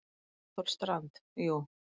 Einar Þór Strand: Jú.